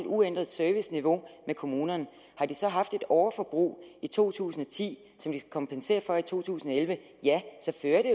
uændret serviceniveau med kommunerne har de så haft et overforbrug i to tusind og ti som de skal kompensere for i to tusind og elleve ja så fører det